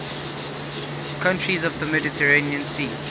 countries of the mediterranean sea